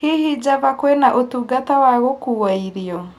hihi java kwĩna ũtungata wa gũkua irio